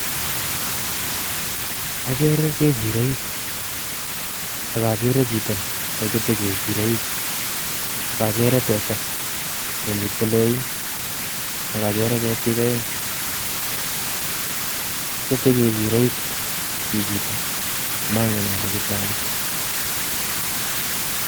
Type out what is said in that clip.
Agere kechiroik, ak agere chito nekete kechiroik. Akagere teta, ne mitei loin. Akagere ketik aeng'. Kete kechiroik chichitok, amangen ale kete ano.